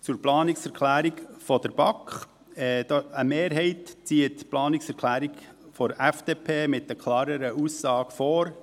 Zur Planungserklärung der BaK: Eine Mehrheit zieht die Planungserklärung der FDP mit der klareren Aussage vor;